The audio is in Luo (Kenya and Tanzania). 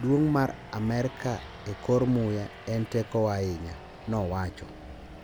duong' mar Amerka e kor muya en tekowa ahinya," nowacho.